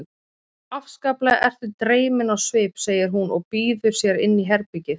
Afskaplega ertu dreyminn á svip, segir hún og býður sér inn í herbergið.